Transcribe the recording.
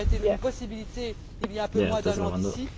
Cela aurait été une possibilité il y a un peu moins d'un an d'ici.